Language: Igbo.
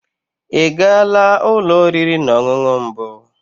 Ị gaala ụlọ oriri na ọṅụṅụ mbụ?